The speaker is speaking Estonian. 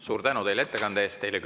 Suur tänu teile ettekande eest!